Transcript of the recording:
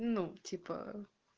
ну типа